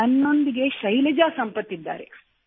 ನನ್ನೊಂದಿಗೆ ಶೈಲಜಾ ಸಂಪತ್ ಇದ್ದಾರೆ